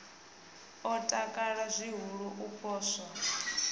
o takala zwihulu u poswa